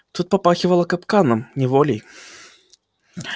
тут попахивало капканом неволей